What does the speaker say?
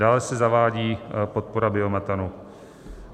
Dále se zavádí podpora biometanu.